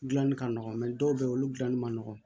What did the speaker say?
Gilanni ka nɔgɔn dɔw bɛ yen olu gilanni man nɔgɔn